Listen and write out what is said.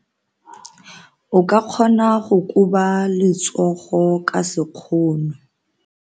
O ka kgona go koba letsogo ka sekgono.